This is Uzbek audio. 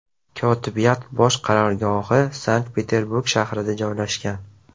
Kotibiyat bosh qarorgohi Sankt-Peterburg shahrida joylashgan.